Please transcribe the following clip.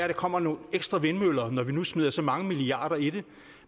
der kommer nogle ekstra vindmøller når vi nu smider så mange milliarder i det